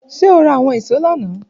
Ṣe o ra awọn ìṣó lana?